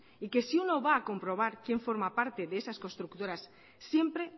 y que si uno va a comprobar quién forma parte de esas constructoras siempre